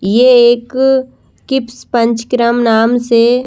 यह एक किप्स पंचक्रम नाम से--